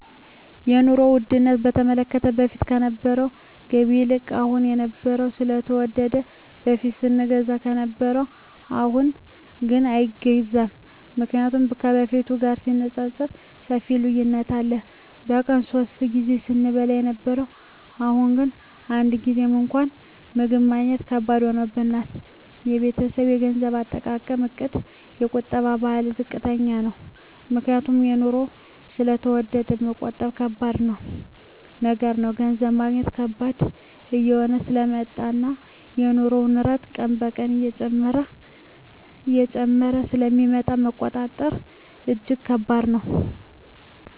የኑሮ ዉድነቱ በተመለከተ በፊት ከነበረዉ ገቢ ይልቅ አሁን የኑሮዉ ስለተወደደ በፊት ስንገዛ ከነበረ አሁንግን አይገዛም ምክንያቱም ከበፊቱ ጋር ሲነፃፀር ሰፊ ልዩነት አለ በቀን ሶስት ጊዜ ስንበላ የነበረዉ አሁን ግን አንድ ጊዜም እንኳን ምግብ ማግኘት ከባድ ሆኗል የቤተሰቤ የገንዘብ አጠቃቀምእቅድ የቁጠባ ባህላችን ዝቅተኛ ነዉ ምክንያቱም ኑሮዉ ስለተወደደ መቆጠብ ከባድ ነገር ነዉ ገንዘብ ማግኘት ከባድ እየሆነ ስለመጣእና የኑሮዉ ንረት ቀን ቀን እየጨመረ ስለሚመጣ መቆጠብ እጂግ ከባድ ነዉ